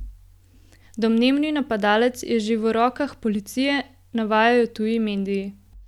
Domnevni napadalec je že v rokah policije, navajajo tuji mediji.